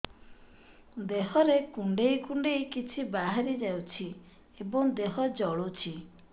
ଦେହରେ କୁଣ୍ଡେଇ କୁଣ୍ଡେଇ କିଛି ବାହାରି ଯାଉଛି ଏବଂ ଦେହ ଜଳୁଛି